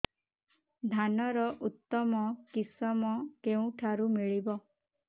ଧାନର ଉତ୍ତମ କିଶମ କେଉଁଠାରୁ ମିଳିବ